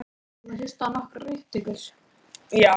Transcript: Mögnuðust nú mjög sögur af Birni.